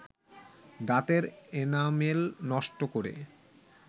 দাঁতের এনামেল নষ্ট করে